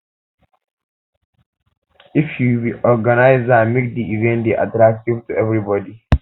if you be organiser make di event dey attractive to everybody